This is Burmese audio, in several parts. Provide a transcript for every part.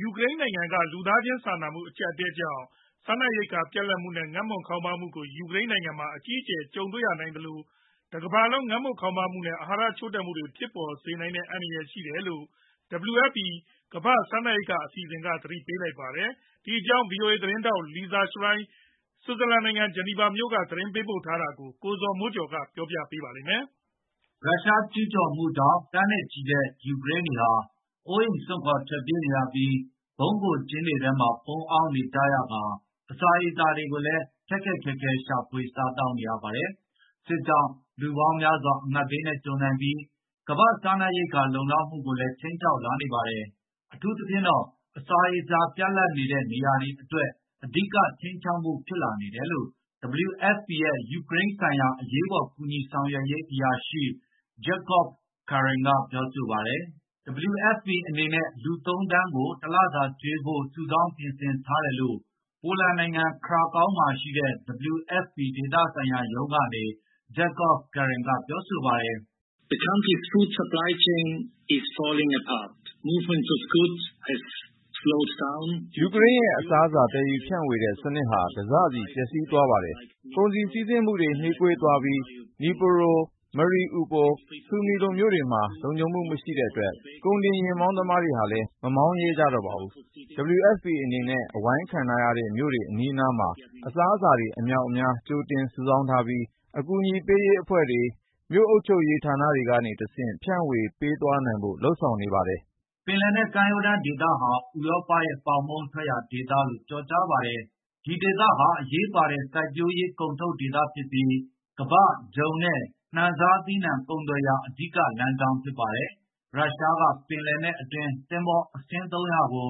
ယူကရိန်းနိုင်ငံက လူသားချင်းစာနာမှု အကျပ်အတည်းကြောင့် စားနပ်ရိက္ခာ ပြတ်လပ်မှုနဲ့ ငတ်မွတ်ခေါင်းပါးမှုကို ယူကရိန်းနိုင်ငံမှာ အကြီးအကျယ် ကြုံရနိုင်သလို ကမ္ဘာတလွှားမှာပါ ငတ်မွတ်ခေါင်းပါးမှုနဲ့ အာဟာရချို့တဲ့မှုတွေ ကြီးထွားလာမယ့် အန္တရာယ် ရှိနေတယ်လို့ WFP ကမ္ဘာ့စားနပ်ရိက္ခာ အစီအစဉ်က သတိပေးလိုက်ပါတယ်။ ဒီအကြောင်း ဗွီအိုအေသတင်းထောက် Lisa Schlein ဆွစ်ဇာလန်နိုင်ငံ ဂျီနီဗာမြို့ကနေ သတင်းပေးပို့ထားတာကို ကိုဇော်မိုးကျော် တင်ပြပေးထားပါတယ်။ ရုရှားကျူးကျော်မှုကြောင့် သန်းနဲ့ချီတဲ့ ယူကရိန်းတွေဟာ အိုးအိမ်စွန့်ခွါ ထွက်ပြေးရပြီး ဗုံးခိုကျင်းတွေထဲမှာ ပုန်းအောင်းနေကြရကာ အစာရေစာတွေကိုလည်း ခက်ခက်ခဲခဲ ရှာဖွေစားသောက်နေရပါတယ်။ စစ်ကြောင့် လူပေါင်းများစွာ အငတ်ဘေးကြုံနိုင်ပြီး ကမ္ဘာ့စားနပ်ရိက္ခာ လုံလောက်မှုကိုလည်း ခြိမ်းခြောက်လာနေပါတယ်။ အထူးသဖြင့်တော့ အစာရေစာ ပြတ်လပ်နေတဲ့ နေရာတွေအတွက် အဓိကခြိမ်းခြောက်မှု ဖြစ်လာနေတယ်လို့ WFP ရဲ့ ယူကရိန်းဆိုင်ရာ အရေးပေါ် ကူညီဆောင်ရွက်ရေးအရာရှိ Jakob Kern က ပြောပါတယ်။ WFP အနေနဲ့ လူ ၃ သန်းကို တလစာကျွေးဖို့ စုဆောင်းပြင်ဆင်ထားတယ်လို့ ပိုလန်နိုင်ငံ Krakow မှာရှိတဲ့ WFP ဒေသဆိုင်ရာရုံးကနေ Jakob Kern က ပြောပါတယ်။ “ယူကရိန်းရဲ့ အစားအစာ သယ်ယူဖြန့်ဝေတဲ့ စနစ်ဟာ တစစီ ပျက်စီးသွားပါတယ်။ ကုန်စည်စီးဆင်းမှုတွေဟာ နှေးကွေးသွားပြီး Dnipro, Mariupol, Sumi လို မြို့တွေမှာ လုံခြုံမှုမရှိတဲ့အတွက် ကုန်တင်ယာဉ်မောင်းသမားတွေဟာလည်း မမောင်းရဲကြပါဘူး။ WFP အနေနဲ့ အဝိုင်းခံထားရတဲ့မြို့တွေ အနီးအနားမှာ အစားအစာတွေ အမြောက်အမြား ကြိုတင်စုဆောင်းထားပြီး ကူညီလုပ်ဆောင်ပေးနေတဲ့ တခြားအဖွဲ့အစည်းတွေ၊ မြို့အုပ်ချုပ်ရေးဌာနတွေကနေ တဆင့် ဖြန့်ဝေပေးသွားဖို့ လုပ်ဆောင်ထားပါတယ်။” ပင်လယ်နက် ကမ်းရိုးတန်းဒေသဟာ ဥရောပရဲ့ ပေါင်မုန့်ထွက်ရာဒေသလို့ ကျော်ကြားပါတယ်။ ဒီဒေသဟာ အရေးပါတဲ့ စိုက်ပျိုးရေးကုန်ထုတ်ဒေသဖြစ်ပြီး ကမ္ဘာ့ဂျုံနဲ့ နှံစားသီးနှံ ကုန်သွယ်ရာ အဓိကလမ်းကြောင်း ဖြစ်ပါတယ်။ ရုရှားက ပင်လယ်နက်အတွင်း သင်္ဘောအစင်း ၃၀၀ ကို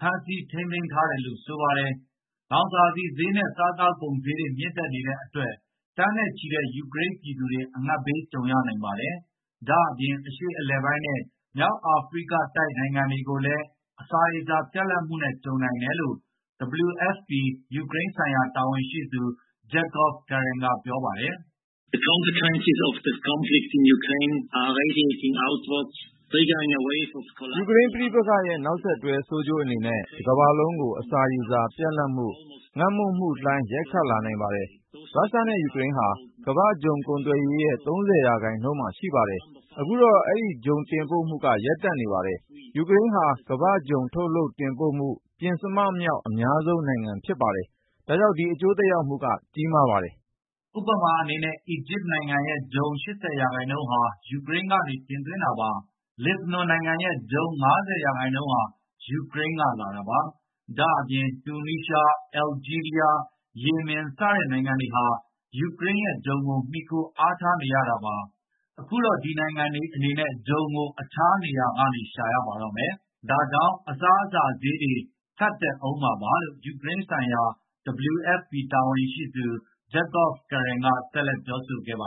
ဖမ်းဆီးထိန်းသိမ်းထားတယ်လို့ ဆိုပါတယ်။ လောင်စာဆီဈေးနဲ့ စားသောက်ကုန်ဈေးတွေ မြင့်တက်နေတဲ့အတွက် သန်းနဲ့ချီတဲ့ ယူကရိန်းပြည်သူတွေ အငတ်ဘေး ကြုံရနိုင်ပါတယ်။ ဒါ့အပြင် အရှေ့အလယ်ပိုင်းနဲ့ မြောက်အာဖရိကတိုက် နိုင်ငံတွေကိုလည်း အစာရေစာ ပြတ်လပ်မှုနဲ့ ကြုံနိုင်တယ်လို့ WFP ယူကရိန်းဆိုင်ရာ တာဝန်ရှိသူ Jakob Kern က ပြောပါတယ်။ “ယူကရိန်းပဋိပက္ခရဲ့ နောက်ဆက်တွဲ ဆိုးကျိုးအနေနဲ့ တကမ္ဘာလုံးကို အစာရေစာပြတ်လပ်မှု၊ ငတ်မွတ်မှုလှိုင်း ရိုက်ခတ်နိုင်ပါတယ်။ ရုရှားနဲ့ ယူကရိန်းဟာ ကမ္ဘာ့ဂျုံကုန်သွယ်ရေးရဲ့ ၃၀ ရာခိုင်နှုန်း ရှိပါတယ်။ အခုတော့ ဒီဂျုံတင်ပို့မှုတွေဟာ ရပ်တန့်နေပါတယ်။ ယူကရိန်းဟာ ကမ္ဘာ့ဂျုံထုတ်လုပ်တင်ပို့မှု ပဉ္စမမြောက် အများဆုံးနိုင်ငံ ဖြစ်ပါတယ်။ ဒါကြောင့် ဒီအကျိုးသက်ရောက်မှုဟာ ကြီးမားပါတယ်။” ဥပမာအနေနဲ့ အီဂျစ်နိုင်ငံရဲ့ ဂျုံ ၈၀ ရာခိုင်နှုန်းဟာ ယူကရိန်းကနေ တင်သွင်းတာပါ။ လက်ဘနွန်နိုင်ငံရဲ့ ဂျုံ ၅၀ ရာခိုင်နှုန်းဟာ ယူကရိန်းက လာတာပါ။ ဒါ့အပြင် တူနီးရှား၊ အယ်လ်ဂျီးရီးယား၊ ယီမင် စတဲ့နိုင်ငံတွေဟာ ယူကရိန်းရဲ့ဂျုံကို မှီခိုအားထားနေရတာပါ။ အခုတော့ ဒီနိုင်ငံတွေအနေနဲ့ ဂျုံကို တခြားနေရာကနေ ရှာရပါတော့မယ်။ ဒါကြောင့် အစားအစာဈေးတွေ ထပ်တက်ကုန်ဦးမှာပါလို့ ယူကရိန်းဆိုင်ရာ WFP တာဝန်ရှိသူ Jakob Kern က ဆက်လက်ပြောဆိုခဲ့ပါတ